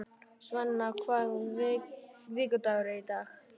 Sveina, hvaða vikudagur er í dag?